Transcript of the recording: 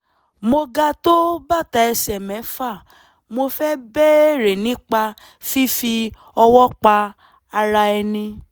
mo ga tó bàtà ẹsẹ̀ mẹ́fà mo fẹ́ béèrè nípa fífi ọwọ́ pa ara ẹni